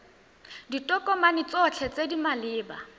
ditokomane tsotlhe tse di maleba